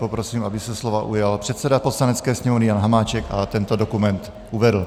Prosím, aby se slova ujal předseda Poslanecké sněmovny Jan Hamáček a tento dokument uvedl.